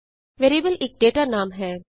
variable ਇਕ data ਨਾਮ ਹੈ